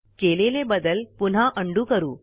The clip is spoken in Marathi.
केलेले बदल पुन्हा उंडो करू